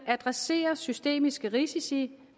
adressere systemiske risici